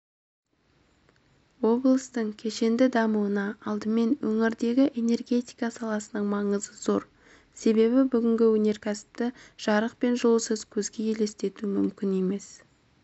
облыстың кешенді дамуында алдымен өңірдегі энергетика саласының маңызы зор себебі бүгінгі өнеркәсіпті жарық пен жылусыз көзге елестету мүмкін емес